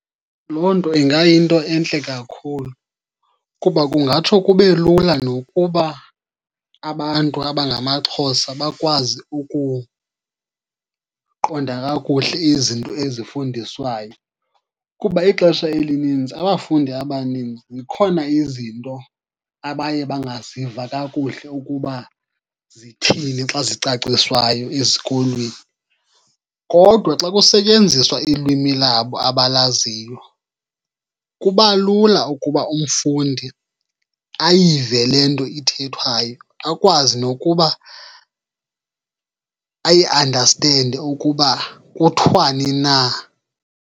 Loo nto ingayinto entle kakhulu kuba kungatsho kube lula nokuba abantu abangamaXhosa bakwazi ukuqonda kakuhle izinto ezifundiswayo. Kuba ixesha elininzi abafundi abaninzi zikhona izinto abaye bangaziva kakuhle ukuba zithini xa zicaciswayo esikolweni. Kodwa xa kusetyenziswa ilwimi labo abalaziyo kuba lula ukuba umfundi ayive le nto ithethwayo akwazi nokuba ayiandastende ukuba kuthiwani na.